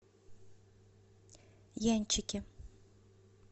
янчике